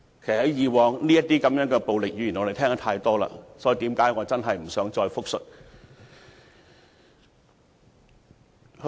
其實這類暴力語言，我們過往已聽得太多，我真的不想複述。